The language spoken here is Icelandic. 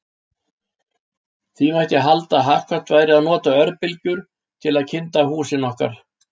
Því mætti halda að hagkvæmt væri að nota örbylgjur til að kynda húsin okkar.